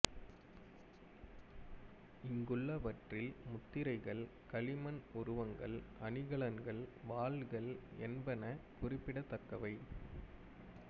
இங்குள்ளவற்றில் முத்திரைகள் களிமண் உருவங்கள் அணிகலன்கள் வாள்கள் என்பன குறிப்பிடத்தக்கவை